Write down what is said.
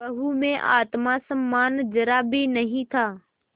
बहू में आत्म सम्मान जरा भी नहीं था